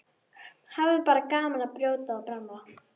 Hafa bara gaman af að brjóta og bramla.